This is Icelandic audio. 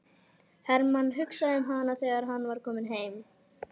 Hermann hugsaði um hana þegar hann var kominn heim.